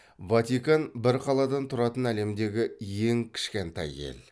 ватикан бір қаладан тұратын әлемдегі ең кішкентай ел